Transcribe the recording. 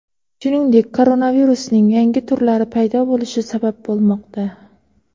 shuningdek koronavirusning yangi turlari paydo bo‘lishi sabab bo‘lmoqda.